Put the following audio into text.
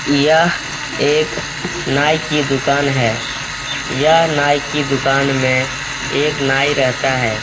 यह एक नाई की दुकान है यह नाई की दुकान में एक नाई रहता है।